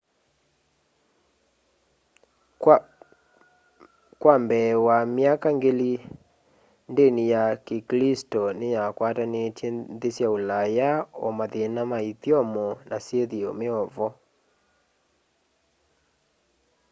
kwa mbee wa myaka ngili ndini ya kiklisto niyakwatanitye nthi sya ulaya o mathina ma ithyomo na syithio meovo